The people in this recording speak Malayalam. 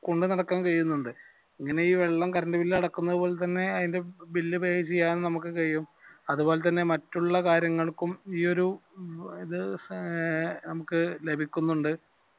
കൊണ്ട് നടക്കുകയും ചെയ്യുന്നുണ്ട് അങ്ങനെ ഈ വെള്ളം കറണ്ട് bill അടക്കുന്നത് പോലെ തന്നെ അയിന്റെ bill pay ചെയ്യാനും നമുക് കഴിയും അത് പോലെ തന്നെ മറ്റുള്ള കാര്യങ്ങൾക്കും ഈയൊരു ഇത് ഏർ ലഭിക്കുന്നുണ്ട്